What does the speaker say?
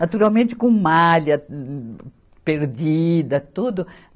Naturalmente, com malha perdida, tudo.